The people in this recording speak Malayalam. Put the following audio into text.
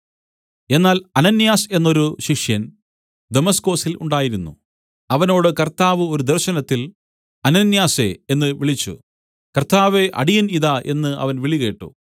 എന്നാൽ അനന്യാസ് എന്നൊരു ശിഷ്യൻ ദമസ്കൊസിൽ ഉണ്ടായിരുന്നു അവനോട് കർത്താവ് ഒരു ദർശനത്തിൽ അനന്യാസേ എന്നു വിളിച്ചു കർത്താവേ അടിയൻ ഇതാ എന്ന് അവൻ വിളികേട്ടു